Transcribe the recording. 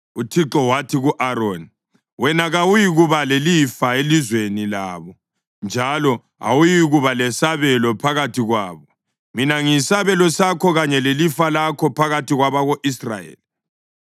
UThixo wathi ku-Aroni, “Wena kawuyikuba lelifa elizweni labo, njalo awuyikuba lesabelo phakathi kwabo; mina ngiyisabelo sakho kanye lelifa lakho phakathi kwabako-Israyeli.